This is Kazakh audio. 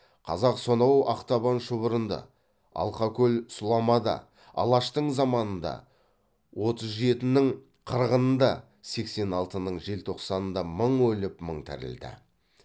қазақ сонау ақтабан шұбырынды алқакөл сұламада алаштың заманында отыз жетінің қырғынында сексен алтының желтоқсанында мың өліп мың тірілді